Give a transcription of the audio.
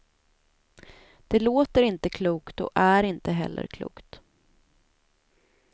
Det låter inte klokt och är inte heller klokt.